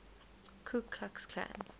ku klux klan